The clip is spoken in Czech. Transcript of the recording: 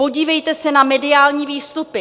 Podívejte se na mediální výstupy.